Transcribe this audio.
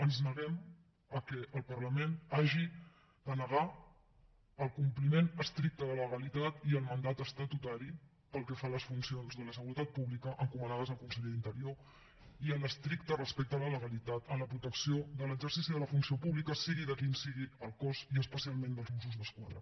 ens neguem que el parlament hagi de negar el compliment estricte de la legalitat i el mandat estatutari pel que fa a les fun cions de la seguretat pública encomanades al conseller d’interior i l’estricte respecte a la legalitat en la protecció de l’exercici de la funció pública sigui quin sigui el cos i especialment dels mossos d’esquadra